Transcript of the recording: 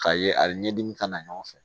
K'a ye a bɛ ɲɛdimi kana ɲɔgɔn fɛ